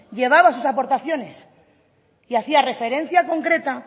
llevaba sus aportaciones y hacía referencia concreta